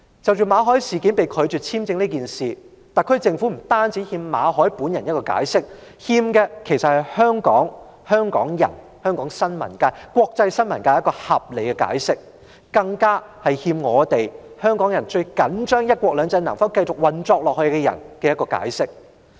至於馬凱被拒發簽證這事，特區政府不但欠馬凱本人一個解釋，還欠香港人、香港新聞界，以及國際新聞界一個合理解釋，更欠最重視"一國兩制"能否繼續運作的人一個解釋。